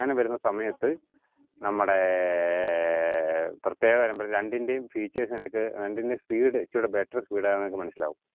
അങ്ങനെ വരുന്ന സമയത്ത് നമ്മടേഏർ ഏർ പ്രത്യേക രണ്ടിന്റേം features നിങ്ങക് രണ്ടിന്റേം speed ച്ചൂടെ better speed ആന്നു മനസിലാവും